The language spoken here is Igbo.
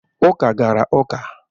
Uka gara uka.